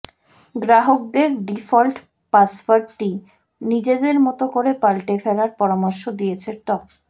গ্রাহকদের ডিফল্ট পাসওয়ার্ডটি নিজেদের মতো করে পাল্টে ফেলার পরামর্শ দিয়েছে ত